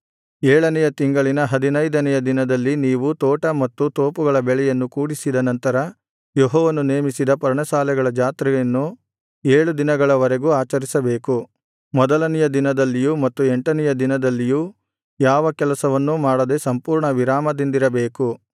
ಏಳನೆಯ ತಿಂಗಳಿನ ಹದಿನೈದನೆಯ ದಿನದಲ್ಲಿ ನೀವು ತೋಟ ಮತ್ತು ತೋಪುಗಳ ಬೆಳೆಯನ್ನು ಕೂಡಿಸಿದ ನಂತರ ಯೆಹೋವನು ನೇಮಿಸಿದ ಪರ್ಣಶಾಲೆಗಳ ಜಾತ್ರೆಯನ್ನು ಏಳು ದಿನಗಳ ವರೆಗೂ ಆಚರಿಸಬೇಕು ಮೊದಲನೆಯ ದಿನದಲ್ಲಿಯೂ ಮತ್ತು ಎಂಟನೆಯ ದಿನದಲ್ಲಿಯೂ ಯಾವ ಕೆಲಸವನ್ನು ಮಾಡದೆ ಸಂಪೂರ್ಣ ವಿರಾಮದಿಂದಿರಬೇಕು